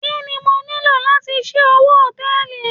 Kí ni mo nílò láti ṣí owó Hòtẹ́lìì?